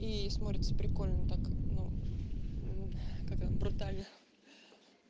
и смотрится прикольно ну так ну как вам брутально